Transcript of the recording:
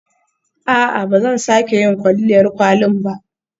A'a, ba zan sake yin kwalliyar kwalin ba.